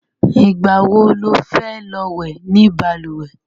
Ìgbà wo lo fẹ́ lọ wẹ̀ ni balùwẹ̀?